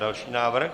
Další návrh.